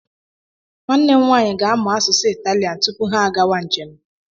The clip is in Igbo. Nwanne m nwaanyị ga-amụ asụsụ Italian tupu ha agawa njem.